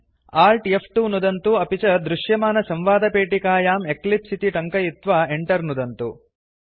Alt फ्2 नुदन्तु अपि च दृश्यमानसंवादपेटिकायां एक्लिप्स इति टङ्कयित्वा Enter नुदन्तु